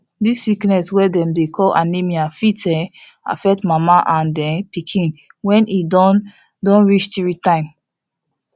this sickness wey dem dey call anemia fit um affect mama and um pikin when e don don reach three time